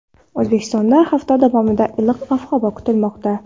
O‘zbekistonda hafta davomida iliq ob-havo kutilmoqda.